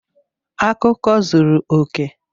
Akụkọ zuru oke!